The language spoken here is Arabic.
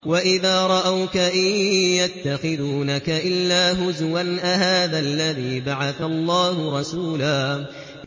وَإِذَا رَأَوْكَ إِن يَتَّخِذُونَكَ إِلَّا هُزُوًا أَهَٰذَا الَّذِي بَعَثَ اللَّهُ رَسُولًا